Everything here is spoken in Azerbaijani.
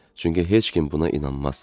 Çünki heç kim buna inanmaz.